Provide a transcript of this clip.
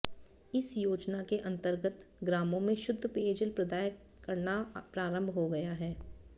इस योजना के अंतर्गत ग्रामों में शुद्ध पेयजल प्रदाय करना प्रारंभ हो गया है